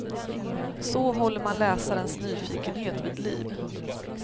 Så håller man läsarens nyfikenhet vid liv.